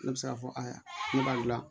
Ne bɛ se k'a fɔ ayiwa ne b'a gilan